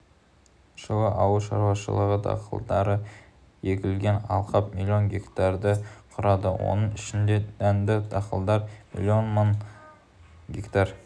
жылы ауыл шаруашылығы дақылдары егілген алқап млн гектарды құрады оның ішінде дәнді дақылдар млн мың гектар